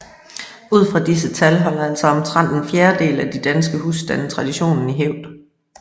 Ud fra disse tal holder altså omtrent en fjerdedel af de danske husstande traditionen i hævd